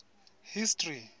history